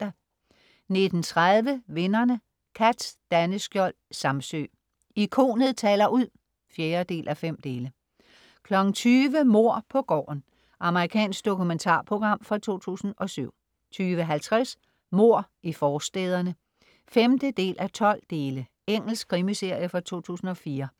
19.30 Vinderne. Cath Daneskiold Samsøe. Ikonet taler ud 4:5 20.00 Mord på gården. Amerikansk dokumentarprogram fra 2007 20.50 Mord i forstæderne 5:12 Engelsk krimiserie fra 2004